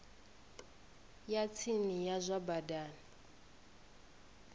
ya tsini ya zwa badani